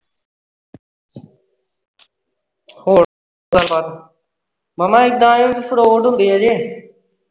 ਹੋਰ ਗੱਲਬਾਤ ਮਾਮਾ ਇੱਦਾਂ ਏ fraud ਹੁੰਦੇ ਅਜੇ